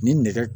Ni nɛgɛ